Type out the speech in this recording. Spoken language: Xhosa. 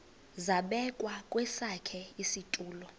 zabekwa kwesakhe isitulo